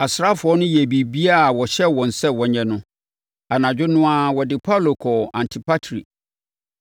Asraafoɔ no yɛɛ biribiara a wɔhyɛɛ wɔn sɛ wɔnyɛ no. Anadwo no ara wɔde Paulo kɔɔ Antipatri.